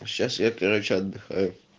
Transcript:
сейчас я короче отдыхаю